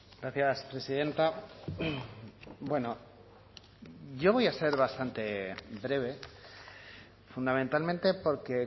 gracias presidenta bueno yo voy a ser bastante breve fundamentalmente porque